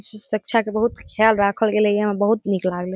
सुरक्षा के बहुत ख्याल राखल गेले ये यहाँ बहुत नीक लागले।